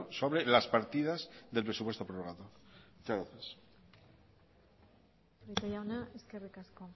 sobre las partidas del presupuesto prorrogado muchas gracias prieto jauna eskerrik asko